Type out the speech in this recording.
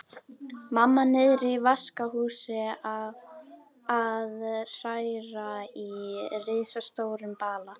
Mamma niðri í vaskahúsi að hræra í risastórum bala.